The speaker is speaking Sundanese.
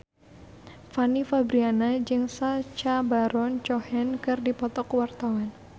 Fanny Fabriana jeung Sacha Baron Cohen keur dipoto ku wartawan